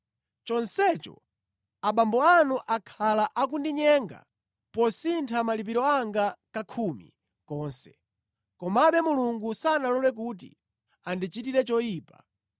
chonsecho abambo anu akhala akundinyenga posintha malipiro anga kakhumi konse. Komabe Mulungu sanalole kuti andichitire choyipa